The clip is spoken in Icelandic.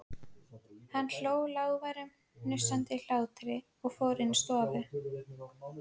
Hann hló, lágværum, hnussandi hlátri og fór inn í stofu.